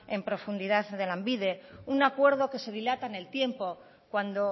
en profundidad de lanbide un acuerdo que se dilata en el tiempo cuando